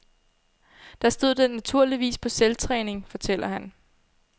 Der stod den naturligvis på selvtræning, fortæller han.